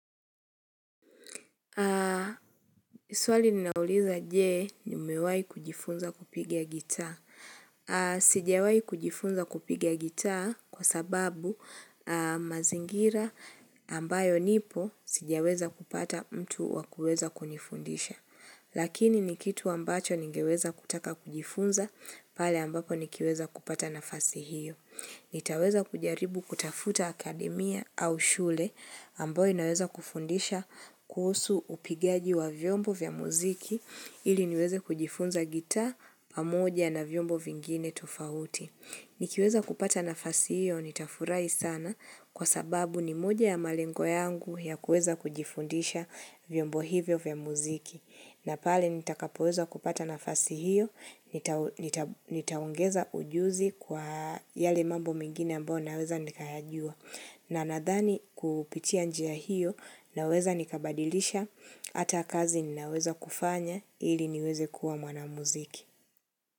Swali linauliza je nimewahi kujifunza kupigia gitaa? Sijawahi kujifunza kupigia gitaa kwa sababu mazingira ambayo nipo sijaweza kupata mtu wa kuweza kunifundisha. Lakini ni kitu ambacho ningeweza kutaka kujifunza pale ambapo nikiweza kupata nafasi hiyo. Nitaweza kujaribu kutafuta akademia au shule ambayo inaweza kufundisha kuhusu upigaji wa vyombo vya muziki ili niweze kujifunza gitaa pamoja na vyombo vingine tofauti. Nikiweza kupata nafasi hiyo nitafurahi sana kwa sababu ni moja ya malengo yangu ya kuweza kujifundisha vyombo hivyo vya muziki. Na pale nitakapoweza kupata nafasi hiyo, nitaongeza ujuzi kwa yale mambo mengine ambayo naweza nikayajua. Na nadhani kupitia njia hiyo naweza nikabadilisha hata kazi ninaweza kufanya ili niweze kuwa mwanamuziki.